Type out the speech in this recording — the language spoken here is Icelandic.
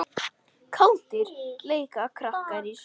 Kátir leika krakkar í snjó.